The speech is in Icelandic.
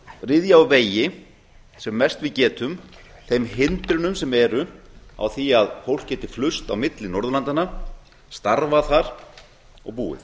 ryðja úr vegi sem mest við getum þeim hindrunum sem eru á því að fólk geti flust á milli norðurlandanna starfað þar og búið